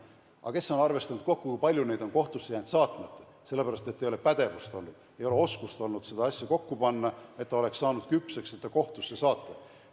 Aga kes on arvestanud kokku, kui palju on jäänud neid kohtusse jäänud saatmata, sellepärast, et ei ole olnud pädevust, ei ole olnud oskust seda asja kokku panna, nii et ta oleks saanud küpseks kohtusse saatmiseks?